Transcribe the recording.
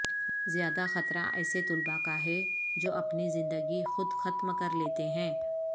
زیادہ خطرہ ایسے طلبہ کا ہے جو اپنی زندگی خود ختم کر لیتے ہیں